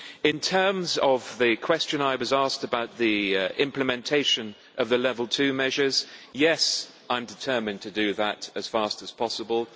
In terms of the question I was asked about the implementation of the Level 2 measures, yes, I am determined to do that as fast as possible.